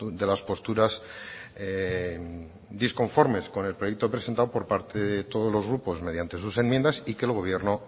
de las posturas disconformes con el proyecto presentado por parte de todos los grupos mediante sus enmiendas y que el gobierno